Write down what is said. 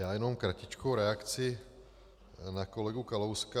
Já jenom kratičkou reakci na kolegu Kalouska.